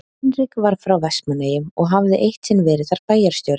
Hinrik var frá Vestmannaeyjum og hafði eitt sinn verið þar bæjarstjóri.